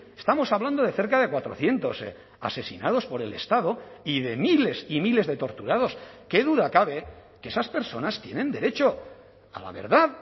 estamos hablando de cerca de cuatrocientos asesinados por el estado y de miles y miles de torturados qué duda cabe que esas personas tienen derecho a la verdad